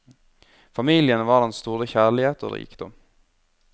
Familien var hans store kjærlighet og rikdom.